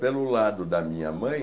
Pelo lado da minha mãe,